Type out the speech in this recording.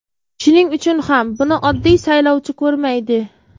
Shuning uchun ham buni oddiy saylovchi ko‘rmaydi.